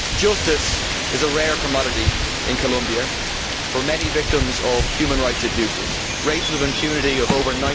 Justice is a rare commodity in Colombia for many victims of human rights abuses, with rates of impunity of over